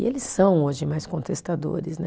E eles são hoje mais contestadores, né?